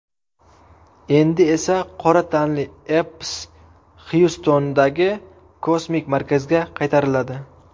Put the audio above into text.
Endi esa qora tanli Epps Xyustondagi kosmik markazga qaytariladi.